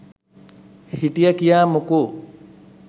හිට්යා කිය මොකො